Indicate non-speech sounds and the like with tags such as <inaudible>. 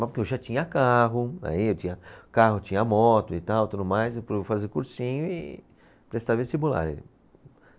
Porque eu já tinha carro, aí eu tinha carro, tinha moto e tal, tudo mais, <unintelligible> eu vou fazer cursinho e prestar vestibular.